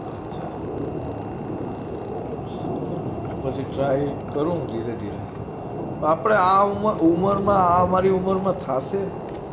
અચ્છા સારું તો પછી try કરું ધીરે ધીરે આપડે આ ઉમર માં આ અમારી ઉમર થાશે?